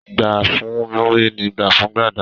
Gbà fún Múrí ni gbà fún Gbàdà.